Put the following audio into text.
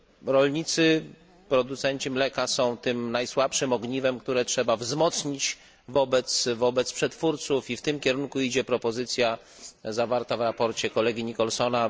Rolnicy, producenci mleka są tym najsłabszym ogniwem, które trzeba wzmocnić w stosunku do przetwórców, i w tym kierunku idzie propozycja zawarta w sprawozdaniu kolegi Nicholsona.